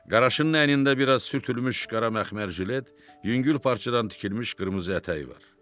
Qaraşının əynində bir az sürtülmüş qara məxmər jilet, yüngül parçadan tikilmiş qırmızı ətəyi var.